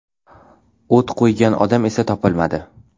O‘t qo‘ygan odam esa topilmadi.